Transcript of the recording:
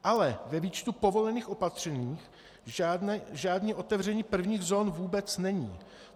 Ale ve výčtu povolených opatření žádné otevření prvních zón vůbec není.